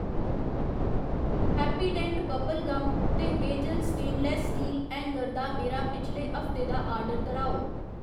Happydent bubble gum ते Hazel stainless steel hanger दा मेरा पिछले हफ्ते दा आर्डर दर्‌हाओ